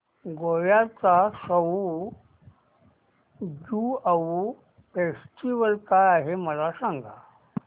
गोव्याचा सउ ज्युआउ फेस्टिवल काय आहे मला सांग